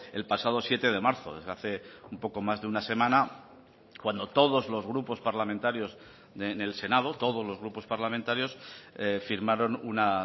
el pasado siete de marzo desde hace un poco más de una semana cuando todos los grupos parlamentarios en el senado todos los grupos parlamentarios firmaron una